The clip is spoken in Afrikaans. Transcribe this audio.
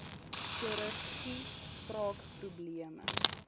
chirurgie spraak probleme